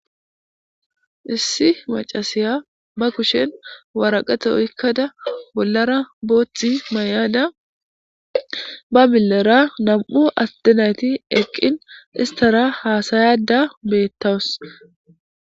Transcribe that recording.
Issi macasiya bakushen waraqato ykkada bollara booththi may'ada ba billera nam'u attenayti eqqin istara haasayada beettawus.